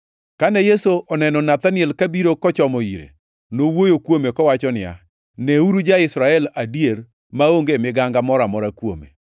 Kane Yesu oneno Nathaniel ka biro kochomo ire, nowuoyo kuome kowacho niya, “Neuru ja-Israel adier, maonge miganga moro amora kuome.”